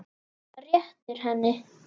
SKÚLI: Nei, heyrið mig nú!